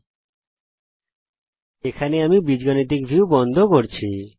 এই টিউটোরিয়ালের জন্য আমি বীজগাণিতিক ভিউ বন্ধ করছি